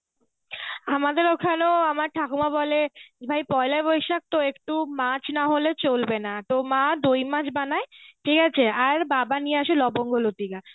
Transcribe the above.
আমাদের ওখানেও আমার ঠাকুমা বলে ভাই পয়লা বৈশাখ তো একটু মাছ নাহলে চলবে না তো মা দইমাছ বানায় ঠিকআছে আর বাবা নিয়ে আসে লবঙ্গ লতিকা.